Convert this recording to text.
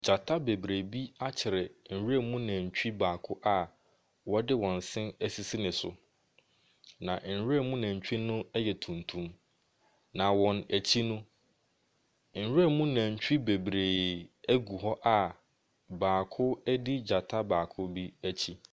Gyata bebree bi akyere nwura mu nantwi baako a wɔde wɔn se asisi ne so, na nwura mu nantwi no ɛyɛ tuntum. Na wɔn akyi no. nwura mu nantwi no bebree agugu hɔ a baako adi gyata baako bi akyi.